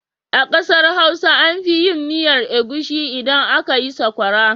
A ƙasar Hausa an fi yin miyar agushi idan aka yi sakwara.